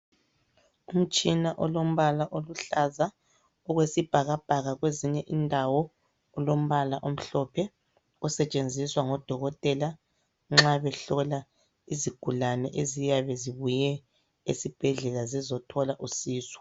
Umtshina olombala oluhlaza okwesibhakabhaka kwezinye indawo ulombala omhlophe, osetshenziswa ngodokotela nxa behlola isigulane eziyabe zibuye esibhedlela zizothola usizo.